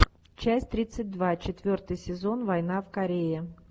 часть тридцать два четвертый сезон война в корее